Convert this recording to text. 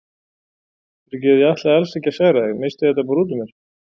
Fyrirgefðu, ég ætlaði alls ekki að særa þig, missti þetta bara út úr mér.